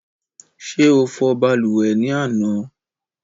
Ṣé o fò balùwẹ̀ ni àná?